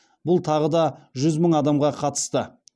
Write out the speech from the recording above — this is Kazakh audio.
бұл тағы да жүз мың адамға қатысты